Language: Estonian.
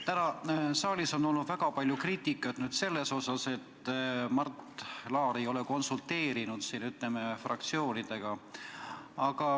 Täna on saalis olnud väga palju kriitikat selle kohta, et Mart Laar ei ole konsulteerinud fraktsioonidega.